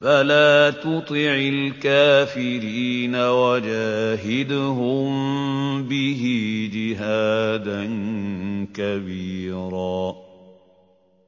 فَلَا تُطِعِ الْكَافِرِينَ وَجَاهِدْهُم بِهِ جِهَادًا كَبِيرًا